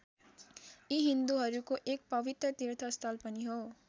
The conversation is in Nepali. यो हिन्दूहरूको एक पवित्र तीर्थस्थल पनि हो।